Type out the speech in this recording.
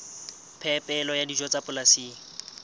phepelo ya dijo tsa polasing